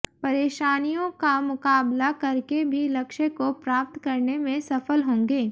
परेशानियों का मुकाबला करके भी लक्ष्य को प्राप्त करने में सफल होंगे